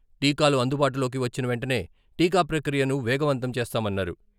టీకాలు అందుబాటులోకి వచ్చిన వెంటనే టీకా ప్రక్రియను వేగవంతం చేస్తామన్నారు.